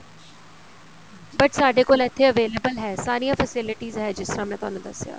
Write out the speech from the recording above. but ਸਾਡੇ ਕੋਲ ਇੱਥੇ available ਹੈ ਸਾਰੀਆਂ facilities ਹੈ ਜਿਸ ਤਰ੍ਹਾਂ ਮੈਂ ਤੁਹਾਨੂੰ ਦੱਸਿਆ